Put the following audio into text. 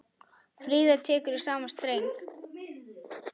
Fríða tekur í sama streng.